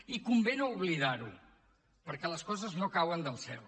i convé no oblidar ho perquè les coses no cauen del cel